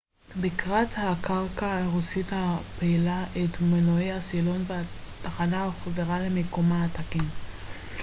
בקרת הקרקע הרוסית הפעילה את מנועי הסילון והתחנה הוחזרה למיקומה התקין